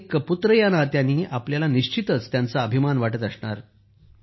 एक पुत्र या नात्यानं आपल्याला निश्चितच त्यांचा अभिमान वाटत असणार